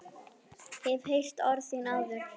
Hef heyrt orð þín áður.